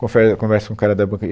Confer, conversa com o cara da banca e